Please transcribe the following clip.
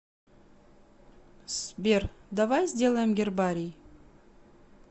сбер давай сделаем гербарий